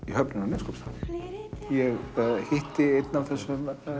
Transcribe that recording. í höfninni á Neskaupstað ég hitti enn af þessum